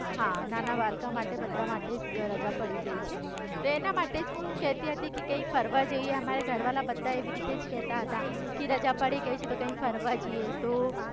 નાના બાળકો બધા માટે રજા પડી ગઈ છે, એના માટે જ હું કેતી હતી કે કઈક ફરવા જઈએ અમારા ઘરવાળા બધા એવી રીતે જ કેતા હતા કે રજા પડી ગઈ છે તો કઈક ફરવા જઈએ તો.